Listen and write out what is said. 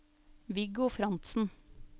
Viggo Frantzen